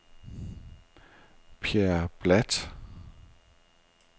Pierre Bladt